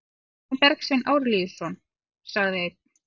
Hvað með Bergsvein Arilíusson, sagði einn?